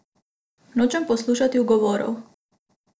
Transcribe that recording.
Nočem poslušati ugovorov.